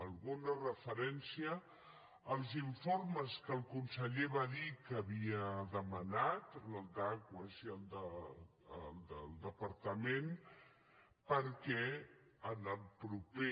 alguna referència als informes que el conseller va dir que havia demanat el d’aquas i el del departament perquè en el proper